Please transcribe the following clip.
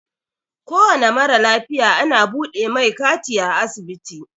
Kowane mara lafiya ana buɗe mai kati a asibiti.